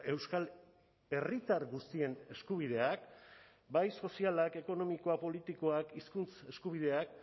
euskal herritar guztien eskubideak bai sozialak ekonomikoak politikoak hizkuntz eskubideak